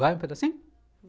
Vai um pedacinho?